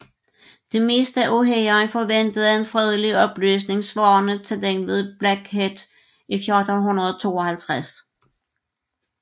Det meste af hæren forventede en fredelig opløsning svarende til den ved Blackheath i 1452